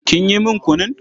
Kin yi min kunun?